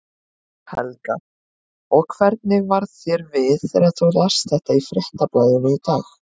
Helga: Og hvernig varð þér við þegar þú last þetta í Fréttablaðinu í dag?